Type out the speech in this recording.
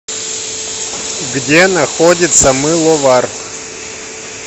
где находится мыловар